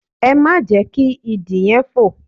Ẹ má jẹ́ kí Idì yẹn fò!